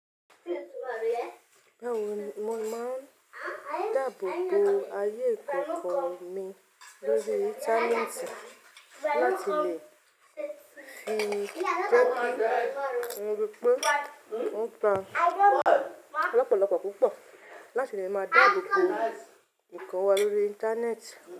Báwo ni mo máa ń dáàbò bo ayé ìkọ́kọ̀ mi lórí Íńtánẹ́ẹ̀tì láti lè fi gbógun wípé ó gba lọ́pọ̀lọ́pọ̀ púpọ̀ láti lè máa dáàbò bo ǹkan wa lórí Íńtánẹ́ẹ̀tì?